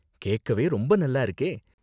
கேக்கவே ரொம்ப நல்லா இருக்கே!